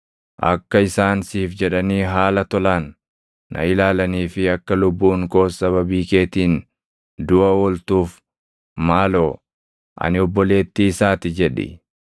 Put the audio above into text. Akka isaan siif jedhanii haala tolaan na ilaalanii fi akka lubbuun koos sababii keetiin duʼa ooltuuf maaloo, ‘Ani obboleettii isaa ti’ jedhi.”